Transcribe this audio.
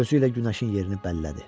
Gözü ilə günəşin yerini bəllədi.